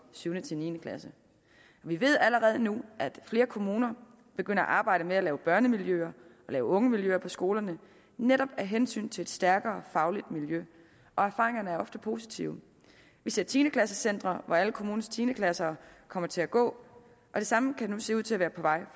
syvende til niende klasse vi ved allerede nu at flere kommuner er begyndt at arbejde med at lave børnemiljøer og ungemiljøer på skolerne netop af hensyn til et stærkere fagligt miljø og erfaringerne er ofte positive vi ser tiende klasse centre hvor alle kommunens tiende klasser kommer til at gå og det samme kan nu se ud til at være på vej